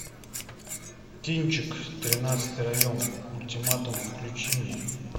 кинчик тринадцатый район ультиматум включи мне